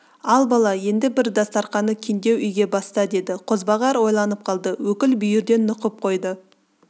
ал бала енді бір дастарқаны кеңдеу үйге баста деді қозбағар ойланып қалды өкіл бүйірден нұқып қойды